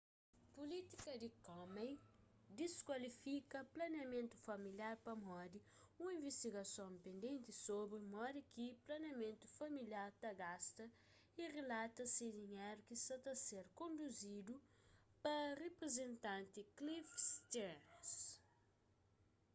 pulítika di komen dizkualifika planeamentu familiar pamodi un investigason pendenti sobri modi ki planeamentu familiar ta gasta y rilata se dinheru ki sa ta ser konduzidu pa riprizentanti cliff stearns